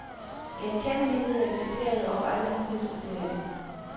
Genkendelighed er kriteriet over alle nyhedskriterier.